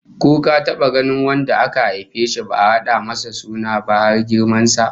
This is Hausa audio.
Ko ka taba ganin wanda aka haife shi ba'a rada masa suna ba, har girman sa?